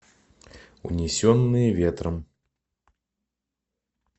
унесенные ветром